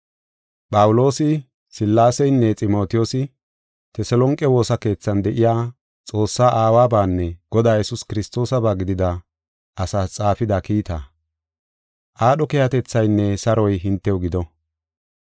Phawuloosi Sillaaseynne Ximotiyoosi Teselonqe woosa keethan de7iya, Xoossaa Aawabanne Godaa Yesuus Kiristoosaba gidida asaas xaafida kiita. Aadho keehatethaynne saroy hintew gido.